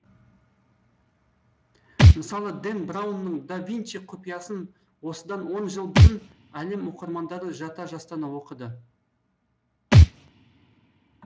мысалы дэн браунның да винчий құпиясын осыдан он жыл бұрын әлем оқырмандары жата жастана оқыды